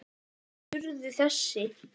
Helstu úrslit urðu þessi